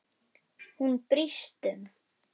Hún brýst um.